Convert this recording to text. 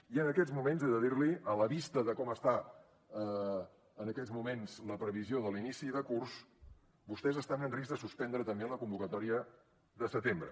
i en aquests moments he de dir li a la vista de com està en aquests moments la previsió de l’inici de curs vostès estan en risc de suspendre també la convocatòria de setembre